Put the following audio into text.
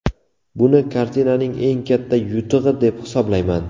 Buni kartinaning eng katta yutug‘i deb baholayman.